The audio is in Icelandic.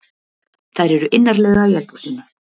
Þær eru innarlega í eldhúsinu.